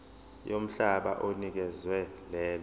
yomhlaba onikezwe lelo